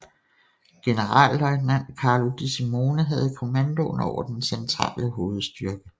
Generalløjtnant Carlo De Simone havde kommandoen over den centrale hovedstyrke